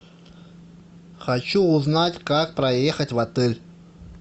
хочу узнать как проехать в отель